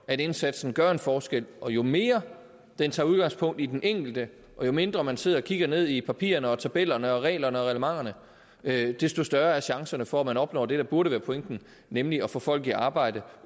at indsatsen gør en forskel og jo mere den tager udgangspunkt i den enkelte og jo mindre man sidder og kigger ned i papirerne tabellerne reglerne og reglementerne desto større er chancerne for at man opnår det der burde være pointen nemlig at få folk i arbejde